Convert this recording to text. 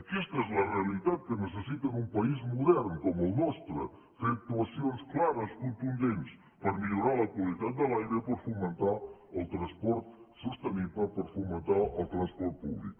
aquesta és la realitat que necessita un país modern com el nostre fer actuacions clares contundents per millorar la qualitat de l’aire i per fomentar el transport sostenible per fomentar el transport públic